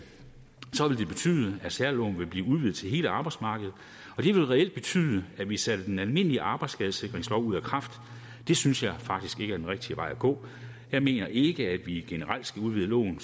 det betyde at særloven ville blive udvidet til hele arbejdsmarkedet og det ville reelt betyde at vi satte den almindelige arbejdsskadesikringslov ud af kraft det synes jeg faktisk ikke er den rigtige vej at gå jeg mener ikke at vi generelt skal udvide loven